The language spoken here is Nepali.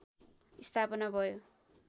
स्थापना भयो